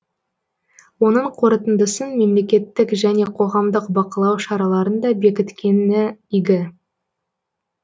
оның қорытындысын мемлекеттік және қоғамдық бақылау шараларын да бекіткені игі